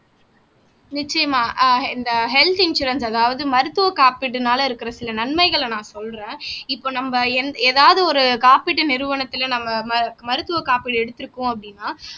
நிச்சயமா ஆஹ் இந்த ஹெல்த் இன்சூரன்ஸ் அதாவது மருத்துவ காப்பீடுனால இருக்கிற சில நன்மைகளை நான் சொல்றேன் இப்ப நம்ம எந் ஏதாவது ஒரு காப்பீட்டு நிறுவனத்துல நம்ம மரு மருத்துவ காப்பீடு எடுத்திருக்கோம் அப்படின்னா